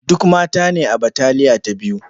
Duk mata ne a bataliya ta biyu.